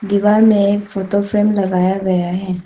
दीवार में एक फोटो फ्रेम लगाया गया है।